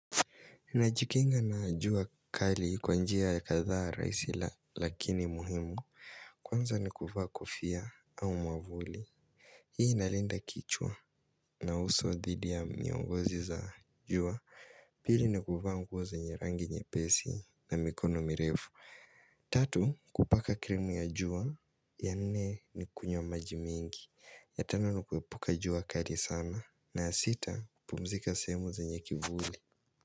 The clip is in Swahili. Ninajikinga na jua kali kwa njia ya katha raisi lakini muhimu, kwanza nikufa kofia au mwavuli. Hii inalinda kichwa na uso dhidi ya miongozi za jua, pili nikufa mguo zenye rangi nyepesi na mikono mirefu. Tatu, kupaka krimu ya jua, ya nne nikunywa maji mingi, ya tano nikuepuka jua kali sana, na sita pumzika sehemu zenye kivuli.